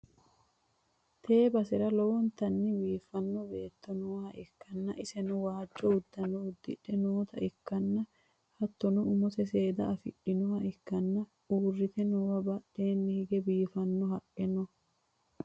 Tee basera lowontanni biiffanno beetto nooha ikkanna, iseno waajjo uddano uddidhe noota ikkanna, hattono umose seeda afidhinota ikkanna, uurrite noowa badheenni hige biiffanno haqqe no.